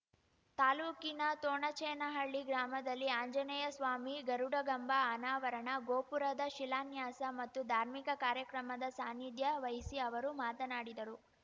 ತಾಲೂಕಿನ ತೋಣಚೇನಹಳ್ಳಿ ಗ್ರಾಮದಲ್ಲಿ ಆಂಜನೇಯಸ್ವಾಮಿ ಗರುಡಗಂಬ ಅನಾವರಣ ಗೋಪುರದ ಶಿಲಾನ್ಯಾಸ ಮತ್ತು ಧಾರ್ಮಿಕ ಕಾರ್ಯಕ್ರಮದ ಸಾನಿಧ್ಯ ವಹಿಸಿ ಅವರು ಮಾತನಾಡಿದರು